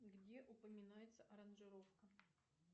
где упоминается аранжировка